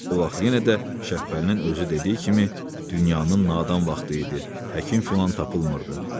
O vaxt yenə də Şəhbəlinin özü dediyi kimi, dünyanın nadan vaxtı idi, həkim filan tapılmırdı.